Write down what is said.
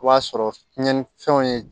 O b'a sɔrɔ tiɲɛnifɛnw ye